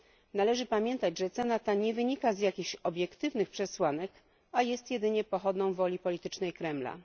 Należy pamiętać, iż cena ta nie wynika z jakichś obiektywnych przesłanek, a jest jedynie pochodną woli politycznej Kremla.